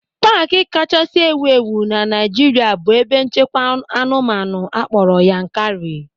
Paaki kachasị ewu ewu na Naịjirịa bụ ebe nchekwa anụmanụ akpọrọ Yankari.